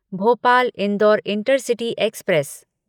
Bhopal Indore intercity express